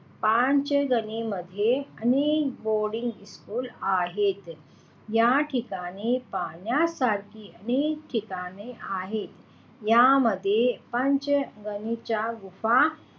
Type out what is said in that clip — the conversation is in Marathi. पाचगणीमध्ये अनेक बोर्डिंग शाळा आहेत. याठिकाणी पाहण्यासाराखी अनेक ठिकाण आहेत यामध्ये पाचगणीच्या गुंफा,